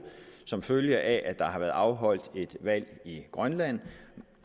som følge af at der har været afholdt et valg i grønland